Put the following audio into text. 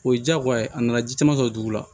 O ye diyagoya ye a nana ji caman sɔrɔ dugu la